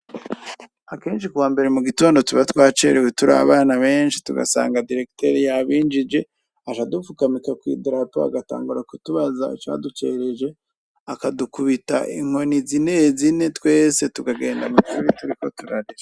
Akenshi kuwambere mugitondo twacerewe turi abana benshi tugasanga diregiteri yabinjije, aja adufukamika kw'idarapo, bagatangura kutubaza icadutereje, akadukubita inkoni zinezine twese tukagenda mwishure turiko turarira.